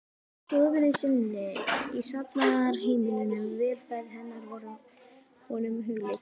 stofunni sinni í safnaðarheimilinu, velferð hennar var honum hugleikin.